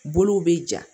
Bolow bɛ ja